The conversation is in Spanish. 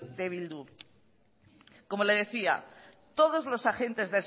de eh bildu como le decía todos los agentes